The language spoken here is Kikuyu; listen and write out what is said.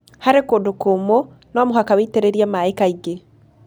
Harĩ kũndũ kũmũ, no mũhaka witĩrĩrie maĩ kaingĩ.